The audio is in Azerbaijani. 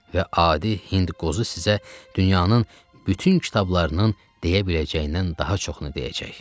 Və adi hind qozu sizə dünyanın bütün kitablarının deyə biləcəyindən daha çoxunu deyəcək.